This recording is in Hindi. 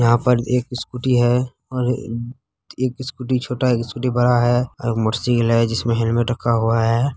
यहाँ पर एक स्कूटी है और एक स्कूटी छोटा है एक स्कूटी बड़ा है और मोटर साइकिल है जिसमें हेलमेट रखा हुआ है।